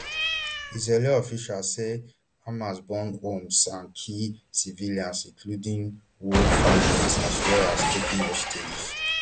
israeli officials say hamas burn homes and kill civilians including whole families as well as taking hostages